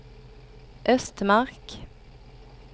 Östmark